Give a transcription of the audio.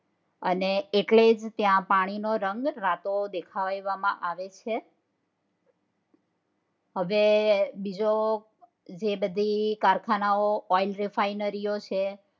અને એટલે જ પાણી નો રંગ રાતો દેખાવવા માં આવે છે હવે જો તે બધી કારખાનાઓ oil ઈ refinery છે